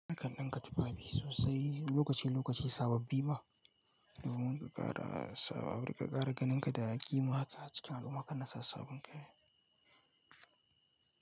Nakanbɗinka tufafi sosai lokaci lokaci sababbi ma? Yanzu mun ka ƙara sabo, ka ƙara ganinka da kima haka a cikin al'umma haka kana sa sabbin kaya.